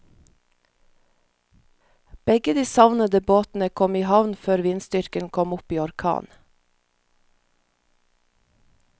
Begge de savnede båtene kom i havn før vindstyrken kom opp i orkan.